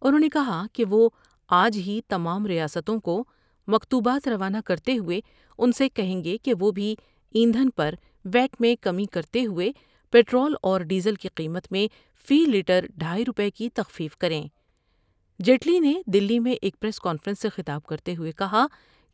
انہوں نے کہا کہ وہ آج ہی تمام ریاستوں کو مکتوبات رونہ کرتے ہوئے ان سے کہیں گے کہ وہ بھی ایندھن پر ویاٹ میں کمی کرتے ہوۓ پٹرول اور ڈیزل کی قیمت میں فی لیٹر ڈھائی روپے کی تخفیف کر یں جیٹلی نے دلی میں ایک پریس کانفرنس سے خطاب کرتے ہوئے کہا